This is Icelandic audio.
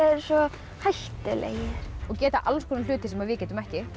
eru svo hættulegir og gera alls konar hluti sem við getum ekki